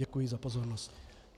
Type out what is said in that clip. Děkuji za pozornost.